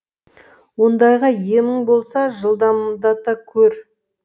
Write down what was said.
ондайға емің болса жылдамдата көр